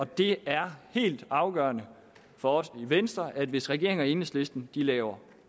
det er helt afgørende for os i venstre at hvis regeringen og enhedslisten laver